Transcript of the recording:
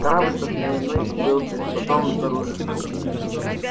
корабль со сменой был пришвартован снаружи